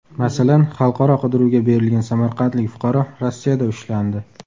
Masalan, xalqaro qidiruvga berilgan samarqandlik fuqaro Rossiyada ushlandi.